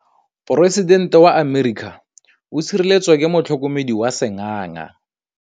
Poresitêntê wa Amerika o sireletswa ke motlhokomedi wa sengaga.